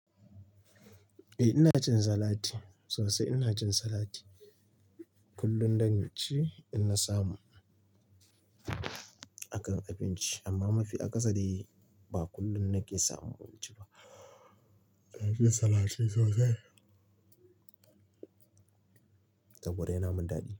Eh ina cin salati sosai ina cin salati kullum dan ci idan na samu a kan abinci amma mafi akasari ba kullum na ke samun abinci ba. Ka ke cin salati sosai? Kwarai yana yimin dadi.